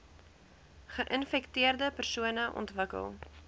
geinfekteerde persone ontwikkel